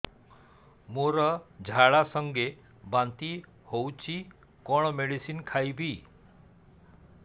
ମୋର ଝାଡା ସଂଗେ ବାନ୍ତି ହଉଚି କଣ ମେଡିସିନ ଖାଇବି